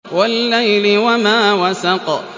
وَاللَّيْلِ وَمَا وَسَقَ